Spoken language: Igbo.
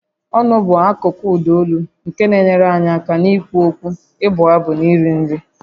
Ọnụ bụ akụkụ ụda olu nke na-enyere anyị aka n'ikwu okwu, ịbụ abụ na iri nri